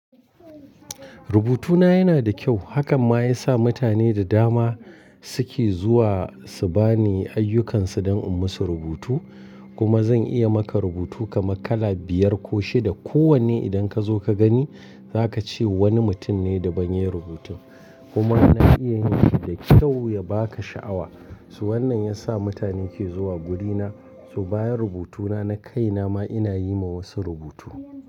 Rubutuna yana da kyau. Hakan ma ya sa mutane da dama suke zuwa su bani ayyukansu don in musu rubutu. Kuma zan iya maka rubutu kamar kala biyar ko shida. Ko wanne idan ka zo ka gani, za ka ce wani mutum ne da ban yi rubutun. Kuma na iya yin shi da kyau ya ba ka sha'awa. Toh wannan ya sa mutane ke zuwa wurina, so bayan rubutuna na kai nama ina yi ma wasu rubutu.